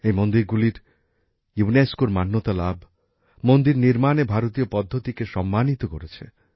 এই মন্দিরগুলির ইউনেস্কোর স্বীকৃতিলাভ মন্দির নির্মাণে ভারতীয় পদ্ধতিকে সম্মানিত করেছে